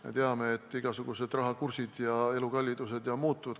Me teame, et igasugused rahakursid ja elukallidus ju muutuvad.